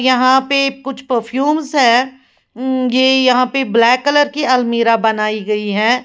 यहां पे कुछ परफ्यूम्स है ऊं ये यहां पर ब्लैक कलर की अलमीरा बनाई गई है।